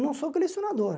Não sou colecionador.